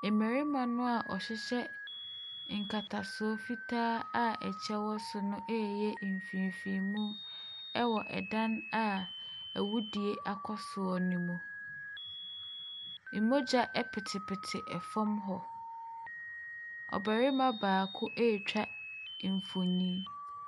Mmarima no a nkatasoɔ fitaa a kyɛ wɔ soɔ no ɛreyɛ mfeefeemu wɔ dan a awudie akɔsoɔ ne mu. Mmogya petepete fam hɔ, ɔbarima baako ɛretwa mfonin.